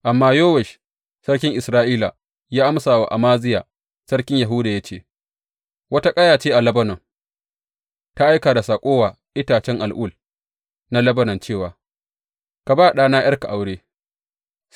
Amma Yowash sarkin Isra’ila ya amsa wa Amaziya sarkin Yahuda ya ce, Wata ƙaya ce a Lebanon, ta aika da saƙo wa itacen al’ul na Lebanon cewa, Ka ba ɗana ’yarka aure.’